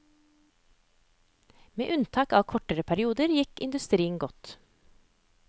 Med unntak av kortere perioder gikk industrien godt.